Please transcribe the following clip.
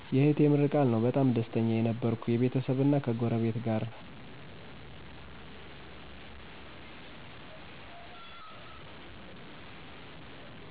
የእህቴ ምርቃል ነው በጣም ደስተኛ የነበርኩ የቤተሰብና ከጎረቤት ጋር